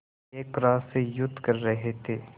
एक ग्रास से युद्ध कर रहे थे